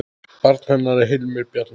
Barn hennar er Hilmir Bjarni.